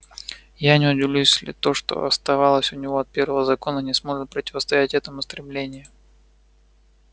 я не удивлюсь если то что осталось у него от первого закона не сможет противостоять этому стремлению